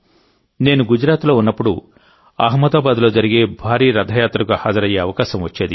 నేను గుజరాత్లో ఉన్నప్పుడు అహ్మదాబాద్లో జరిగే భారీ రథయాత్రకు హాజరయ్యే అవకాశం వచ్చేది